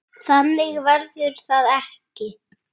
Þannig verður það ekki.